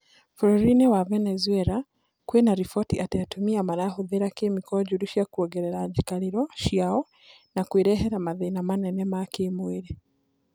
bũrũri wa Venezuela kwĩna riboti atĩ atumia marahũthira kemiko njũru cia kuongerera njikarĩro ciao na kwĩrehera mathĩna manene ma kĩmwĩrĩ,